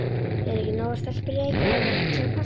Eru ekki nógar stelpur í Reykjavík til að passa?